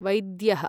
वैद्यः